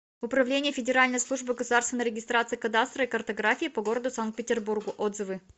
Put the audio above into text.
управление федеральной службы государственной регистрации кадастра и картографии по г санкт петербургу отзывы